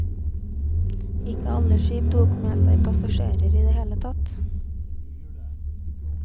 Ikke alle skip tok med seg passasjerer i det hele tatt.